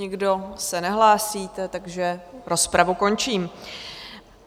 Nikdo se nehlásíte, takže rozpravu končím.